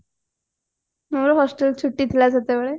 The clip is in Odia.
ଆମର hostel ଛୁଟି ଥିଲା ସେତେବେଳେ